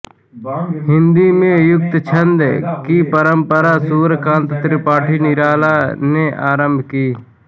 हिन्दी में मुक्तछन्द की परम्परा सूर्यकान्त त्रिपाठी निराला ने आरम्भ की